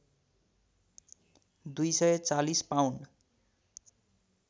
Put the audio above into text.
२४० pound